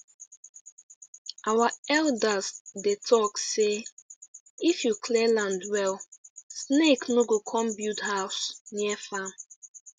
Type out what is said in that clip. our elders dey talk say if you clear land well snake no go come build house near farm